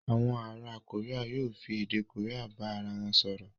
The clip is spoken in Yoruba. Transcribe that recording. Àwọn ará Korea yóò fi èdè Korea bá ara wọn sọ̀rọ̀.